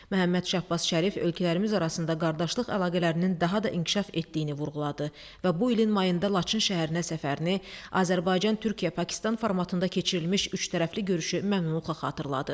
Məhəmməd Şahbaz Şərif ölkələrimiz arasında qardaşlıq əlaqələrinin daha da inkişaf etdiyini vurğuladı və bu ilin mayında Laçın şəhərinə səfərini Azərbaycan-Türkiyə-Pakistan formatında keçirilmiş üçtərəfli görüşü məmnunluqla xatırladı.